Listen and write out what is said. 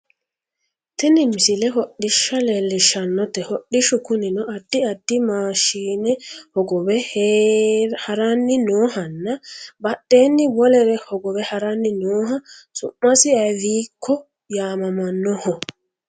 tini misle hodhishsha leellishshanote hodhishshu kunino addi addi maashine hogowe haranni noohanna badheenni wolere hogowe haranni nooha su'masi ivekko yaamamannoho